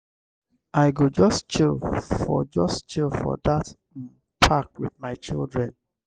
i go just chill for just chill for dat um park wit my children.